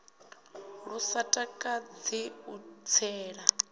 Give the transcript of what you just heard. lu sa takadzi u tsela